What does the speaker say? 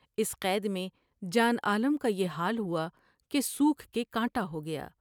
اس قید میں جان عالم کا یہ حال ہوا کہ سوکھ کے کانٹا ہو گیا ۔